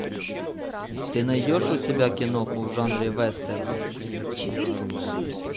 ты найдешь у себя киноху в жанре вестерн